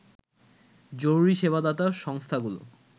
জরুরী সেবাদাতা সংস্থাগুলো